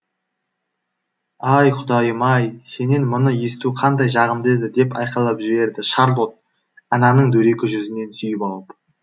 ай құдайым ай сенен мұны есту қандай жағымды еді деп айқайлап жіберді шарлотт ананың дөрекі жүзінен сүйіп алып